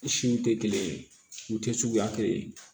Siw tɛ kelen ye u tɛ suguya kelen ye